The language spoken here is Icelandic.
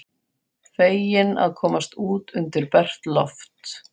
Feginn að komast út undir bert loft.